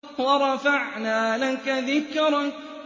وَرَفَعْنَا لَكَ ذِكْرَكَ